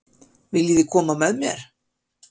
Viljiði koma með mér?